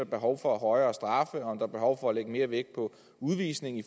behov for højere straffe om der er behov for at lægge mere vægt på udvisning i